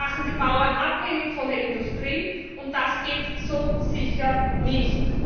Sie machen die Bauern abhängig von der Industrie, und das geht so sicher nicht!